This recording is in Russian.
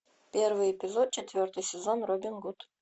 первый эпизод четвертый сезон робин гуд